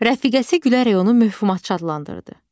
Rəfiqəsi gülərək onu mövhumatçı adlandırdı.